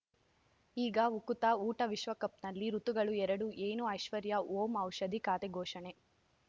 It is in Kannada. ಈಗ ಉಕುತ ಊಟ ವಿಶ್ವಕಪ್‌ನಲ್ಲಿ ಋತುಗಳು ಎರಡು ಏನು ಐಶ್ವರ್ಯಾ ಓಂ ಔಷಧಿ ಖಾತೆ ಘೋಷಣೆ